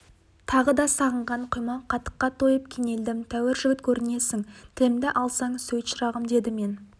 тағы да сағынған құймақ қатыққа тойып кенелдім тәуір жігіт көрінесің тілімді алсаң сөйт шырағым деді мен